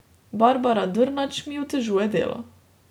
Barbara Drnač mi otežuje delo.